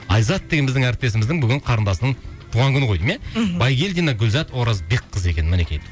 айзат деген біздің әріптесіміздің бүгін қарындасының туған күні ғой деймін иә мхм байгельдина гүлзат оразбекқызы екен мінекей